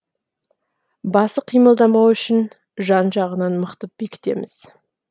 басы қимылдамауы үшін жан жағынан мықтап бекітеміз